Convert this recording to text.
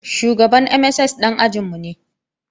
Shugaban MSS ɗan ajin mu ne